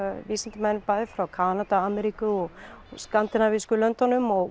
vísindamenn bæði frá Kanada og Ameríku og skandinavísku löndunum og